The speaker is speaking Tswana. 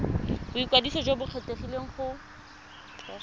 boikwadiso jo bo kgethegileng go